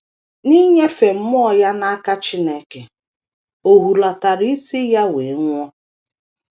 N’inyefe mmụọ ya n’aka Chineke, o hulatara isi ya wee nwụọ.